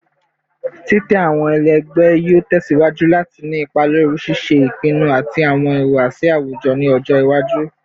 Titẹ awọn ẹlẹgbẹ yoo tẹsiwaju lati ni ipa lori ṣiṣe ipinnu ati awọn ihuwasi awujọ ni ọjọ iwaju